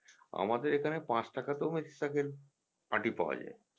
আমাদের এখানে পাঁচ টাকাতেও মেথিশাঁকের আঁটি পাওয়া যায়